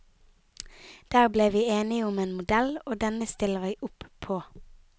Der ble vi enige om en modell, og denne stiller vi opp på.